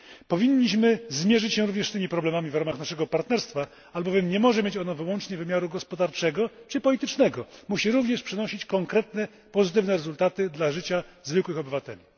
Powinniśmy zmierzyć się również z tymi problemami w ramach naszego partnerstwa, albowiem nie może mieć ona wyłącznie wymiaru gospodarczego czy politycznego, musi również przynosić konkretne pozytywne rezultaty wpływające na życie zwykłych obywateli.